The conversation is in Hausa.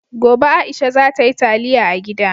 Gobe, Aisha za ta yi taliya a gida.